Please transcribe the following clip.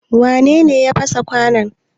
Wane ne ya fasa kwanon?